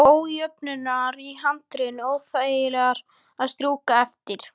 Og ójöfnurnar í handriðinu óþægilegar að strjúka eftir.